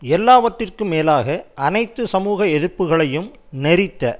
எல்லாவற்றிற்கும் மேலாக அனைத்து சமூக எதிர்ப்புக்களையும் நெரித்த